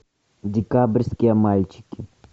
декабрьские мальчики